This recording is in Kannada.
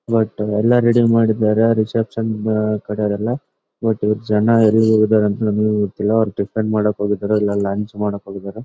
ವಟ್ಟ ಎಲ್ಲಾ ರೀಡಿಂಗ್ ಮಾಡಿದಾರೆ ಕಡೆಯವರೆಲ್ಲಾ ವಟ್ಟ್ ಜನ ಎಲ್ಲಿ ಇರಬೇಕಂತ ನಮ್ಮಗೂ ಗೊತ್ತಿಲ್ಲಾ ಅವ್ರು ಟಿಫನ್ ಮಾಡಕಹೋಗಿದರೆ ಇಲ್ಲಾ ಲಂಚ್ ಮಾಡಕಹೋಗಿದರೆ .